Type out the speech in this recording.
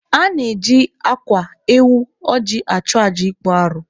A na-eji akwa, ewu, ọjị achụ aja ịkpụ arụ.